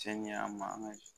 Cɛn ye an ma an ka